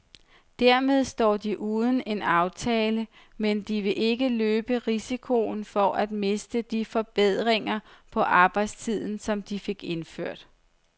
Dermed står de uden en aftale, men de vil ikke løbe risikoen for at miste de forbedringer på arbejdstiden, som de fik indført.